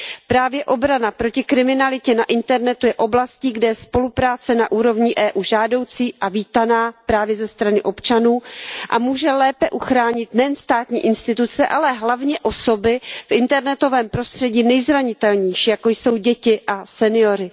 Právě obrana proti kriminalitě na internetu je oblastí, kde je spolupráce na úrovni EU žádoucí a vítaná právě ze strany občanů a může lépe uchránit nejen státní instituce, ale hlavně osoby v internetovém prostředí nejzranitelnější, jako jsou děti a senioři.